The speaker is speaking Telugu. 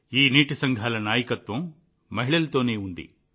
ఈ నీటి సంఘాల నాయకత్వం మహిళలతోనే ఉంది